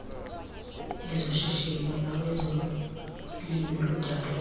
ezoshishino nawezolimo ludala